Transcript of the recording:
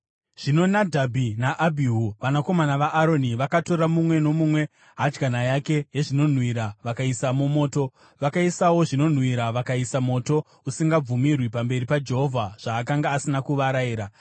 Zvino Nadhabhi naAbhihu, vanakomana vaAroni vakatora, mumwe nomumwe, hadyana yake yezvinonhuhwira, vakaisamo moto, vakaisawo zvinonhuhwira, vakaisa moto usingabvumirwi pamberi paJehovha zvaakanga asina kuvarayira.